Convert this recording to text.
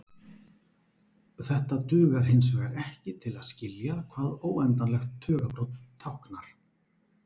Þetta dugar hinsvegar ekki til að skilja hvað óendanlegt tugabrot táknar.